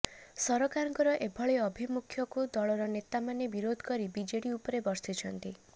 ସରକାରଙ୍କର ଏଭଳି ଅଭିମୁଖ୍ୟକୁ ଦଳର ନେତାମାନେ ବିରୋଧ କରି ବିଜେଡି ଉପରେ ବର୍ଷିଛନ୍ତି